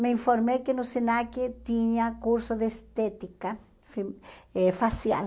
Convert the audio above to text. Me informei que no SENAC tinha curso de estética fe eh facial.